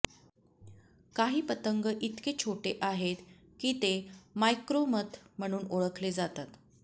काही पतंग इतके छोटे आहेत की ते मायक्रोोमथ म्हणून ओळखले जातात